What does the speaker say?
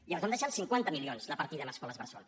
i vam deixar en cinquanta milions la partida en escoles bressol